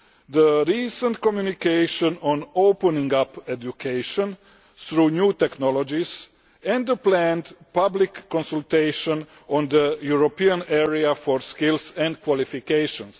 the recent communication on opening up education through new technologies and the planned public consultation on the European Area for Skills and Qualifications.